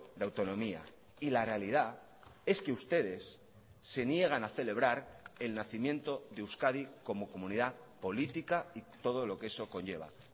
de autonomía y la realidad es que ustedes se niegan a celebrar el nacimiento de euskadi como comunidad política y todo lo que eso conlleva